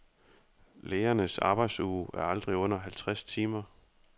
Lægernes arbejdsuge er aldrig under halvtreds timer.